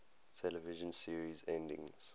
television series endings